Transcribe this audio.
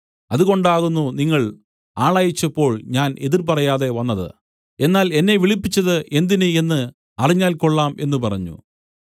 അതുകൊണ്ടാകുന്നു നിങ്ങൾ ആളയച്ചപ്പോൾ ഞാൻ എതിർ പറയാതെ വന്നത് എന്നാൽ എന്നെ വിളിപ്പിച്ചത് എന്തിന് എന്ന് അറിഞ്ഞാൽ കൊള്ളാം എന്നു പറഞ്ഞു